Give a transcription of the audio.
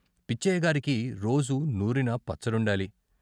పిచ్చయ్య గారికి రోజూ నూరిన పచ్చడుండాలి.